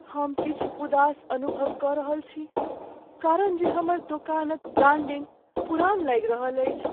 हम किछु उदास अनुभव कऽ रहल छी कारण जे हमर दोकानक ब्रांडिंग पुरान लागि रहल अछि।